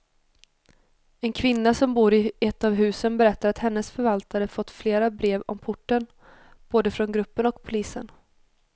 En kvinna som bor i ett av husen berättar att hennes förvaltare fått flera brev om porten, både från gruppen och polisen.